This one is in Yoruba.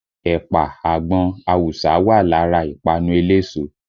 Ẹ̀pà, àgbọn, awùsá wà lára ìpanu eléso